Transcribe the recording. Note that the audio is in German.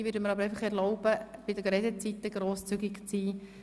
Ich werde mir aber erlauben, bei den Redezeiten grosszügig zu sein.